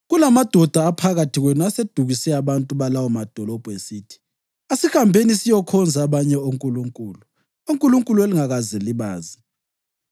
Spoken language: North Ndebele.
kulamadoda aphakathi kwenu asedukise abantu balawo madolobho, esithi, ‘Asihambeni siyokhonza abanye onkulunkulu’ (onkulunkulu elingakaze libazi),